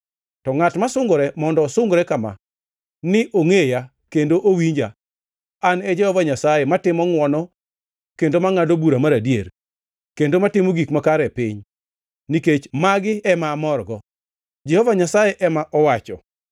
to ngʼat ma sungore mondo osungre kama: ni ongʼeya, kendo owinja, ni An e Jehova Nyasaye, matimo ngʼwono, kendo mangʼado bura mar adier, kendo matimo gik makare e piny, nikech magi ema amorgo,” Jehova Nyasaye ema owacho.